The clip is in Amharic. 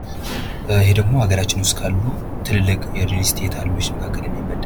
ይሄ ደግሞ አገራችን ውስጥ ካሉ ትልልቅ የሪልስቴት አልሚዎች መካከል የሚመደብ ነው።